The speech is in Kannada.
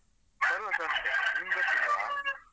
ಬರುವ Sunday , ನಿಂಗ್ ಗೊತ್ತಿಲ್ವಾ?